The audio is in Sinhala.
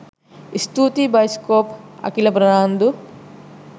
ස්තූතියි බයිස්කෝප් අකිල ප්‍රනාන්දු